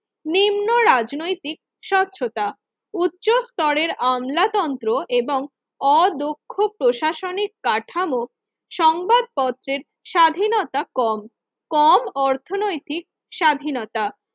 রাজনৈতিক স্বচ্ছতা উচ্চ স্তরের আমলাতন্ত্র এবং অদক্ষ প্রশাসনিক কাঠামো সংবাদপত্রের স্বাধীনতা কম কম অর্থনৈতিক স্বাধীনতা